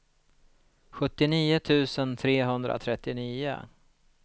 sjuttionio tusen trehundratrettionio